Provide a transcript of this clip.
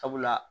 Sabula